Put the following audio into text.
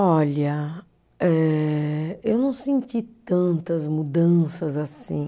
Olha, eh eu não senti tantas mudanças assim.